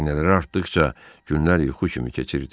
Xəzinələri artdıqca günlər yuxu kimi keçirdi.